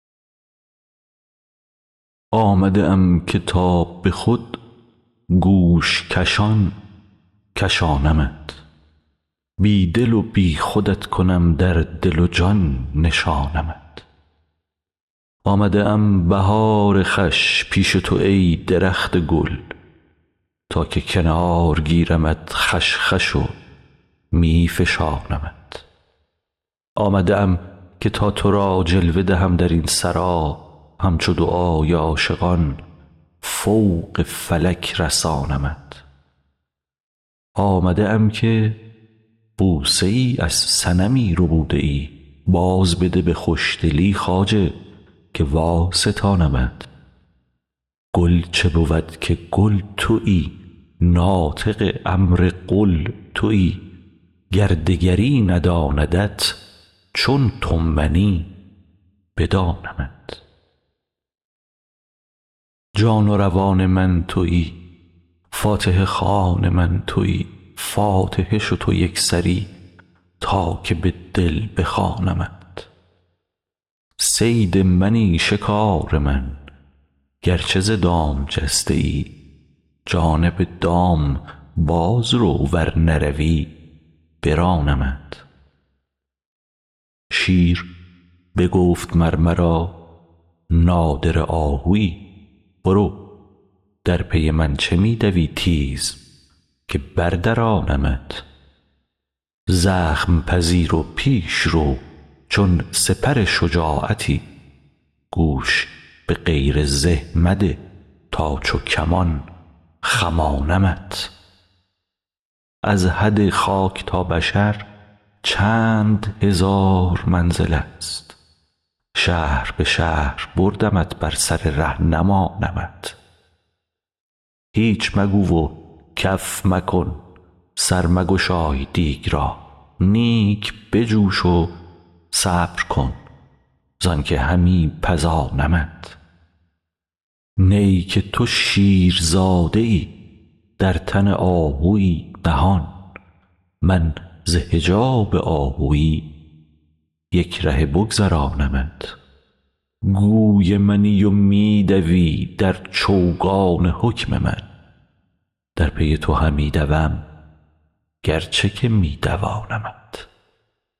آمده ام که تا به خود گوش کشان کشانمت بی دل و بی خودت کنم در دل و جان نشانمت آمده ام بهار خوش پیش تو ای درخت گل تا که کنار گیرمت خوش خوش و می فشانمت آمده ام که تا تو را جلوه دهم در این سرا همچو دعای عاشقان فوق فلک رسانمت آمده ام که بوسه ای از صنمی ربوده ای بازبده به خوشدلی خواجه که واستانمت گل چه بود که کل تویی ناطق امر قل تویی گر دگری نداندت چون تو منی بدانمت جان و روان من تویی فاتحه خوان من تویی فاتحه شو تو یک سری تا که به دل بخوانمت صید منی شکار من گرچه ز دام جسته ای جانب دام باز رو ور نروی برانمت شیر بگفت مر مرا نادره آهوی برو در پی من چه می دوی تیز که بردرانمت زخم پذیر و پیش رو چون سپر شجاعتی گوش به غیر زه مده تا چو کمان خمانمت از حد خاک تا بشر چند هزار منزلست شهر به شهر بردمت بر سر ره نمانمت هیچ مگو و کف مکن سر مگشای دیگ را نیک بجوش و صبر کن زانک همی پزانمت نی که تو شیرزاده ای در تن آهوی نهان من ز حجاب آهوی یک رهه بگذرانمت گوی منی و می دوی در چوگان حکم من در پی تو همی دوم گرچه که می دوانمت